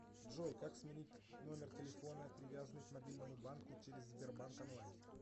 джой как сменить номер телефона привязанный к мобильному банку через сбербанк онлайн